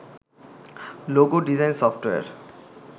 logo design software